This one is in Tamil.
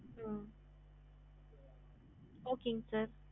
ஹம்